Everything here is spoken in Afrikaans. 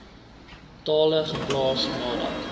tale geplaas nadat